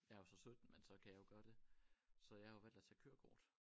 Jeg er jo så 17 men så kan jeg jo gøre det så jeg har jo valgt at tage kørekort